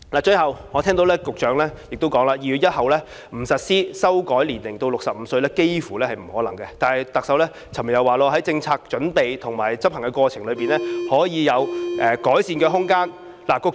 最後，我聽到局長說2月1日不實施修改年齡至65歲，幾乎接近不可能，但特首昨天卻說，在政策準備和執行過程中，可以有改善的空間。